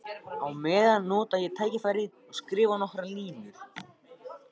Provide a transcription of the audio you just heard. Á meðan nota ég tækifærið og skrifa nokkrar línur.